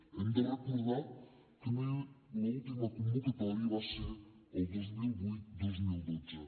hem de recordar que l’última convocatòria va ser el dos mil vuit dos mil dotze